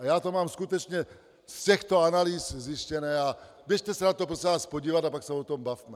A já to mám skutečně z těchto analýz zjištěné a běžte se na to, prosím vás, podívat, a pak se o tom bavme.